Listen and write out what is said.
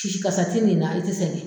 kasa ti n'i na i ti sɛngɛ.